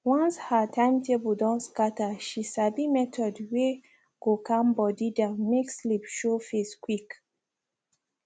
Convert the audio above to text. once her timetable don scatter she sabi method were go calm body down make sleep show face quick